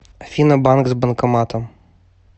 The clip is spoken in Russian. афина банк с банкоматом